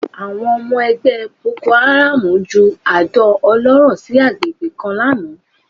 Àwọn ọmọ ẹgbẹ́ bokoáràm ju àdó olóró sí àgbègbè kan lánàá